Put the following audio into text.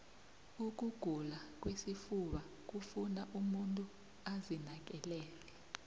ukugula kwesifuba kufuna umuntu azinakekele